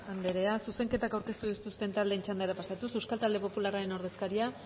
andrea zuzenketak aurkeztu dituzten taldeen txandara pasatuz euskal talde popularraren ordezkaria